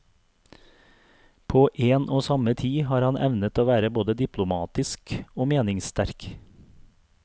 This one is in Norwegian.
På en og samme tid har han evnet å være både diplomatisk og meningsste rk.